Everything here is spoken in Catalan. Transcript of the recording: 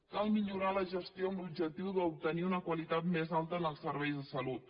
cal millorar la gestió amb l’objectiu d’obtenir una qualitat més alta en els serveis de salut